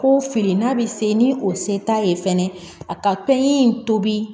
Ko fili n'a bɛ se ni o se t'a ye fɛnɛ a ka tanɲi in tobi